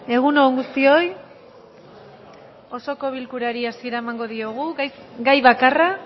egun on guztioi osoko bilkurari hasiera emango diogu gai bakarra